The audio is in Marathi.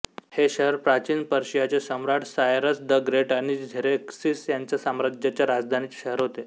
हे शहर प्राचीन पर्शियाचे सम्राट सायरस द ग्रेट आणि झेरेक्सिस यांच्या साम्राज्याच्या राजधानीचे शहर होते